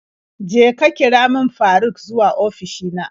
Je ka kira min Faruk zuwa ofishi na.